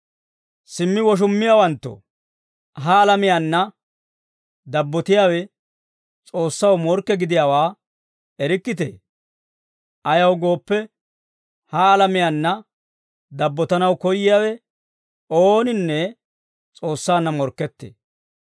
Simmi woshummiyaawanttoo, ha alamiyaanna dabbotiyaawe S'oossaw morkke gidiyaawaa erikkitee? Ayaw gooppe, ha alamiyaanna dabbotanaw koyyiyaawe ooninne S'oossaanna morkkettee.